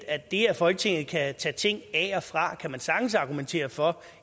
at det at folketinget kan tage ting af og fra kan man sagtens argumentere for